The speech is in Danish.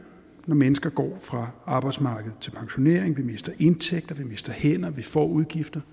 når mennesker går fra arbejdsmarkedet til pensionering vi mister indtægter vi mister hænder vi får udgifter